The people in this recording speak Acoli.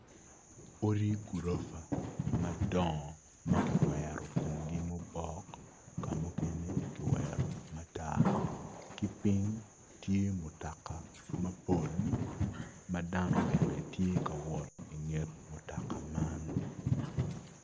Odi gurofa madongo ma kiwero komgi mubok kamo mukene kiwero matar ki ping tye mutaka mapol ma dano bene tye ka wot i nget mutoka man